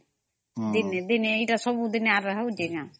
ଅମ୍ଦି ନେ ଦିନେ ଏଟା ଆଉ ସବୁଦିନେ ହଉଚି ନ